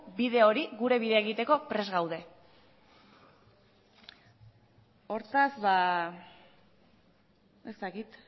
bide hori gure bidea egiteko prest gaude hortaz ez dakit